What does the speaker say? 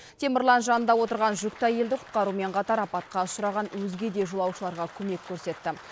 темірлан жанында отырған жүкті әйелді құтқарумен қатар апатқа ұшыраған өзге де жолаушыларға көмек көрсетті